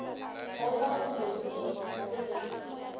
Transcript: kgolwa boloi le dipoko le